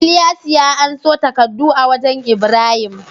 Ilyasu ya anso takaddu a wajan ibrahim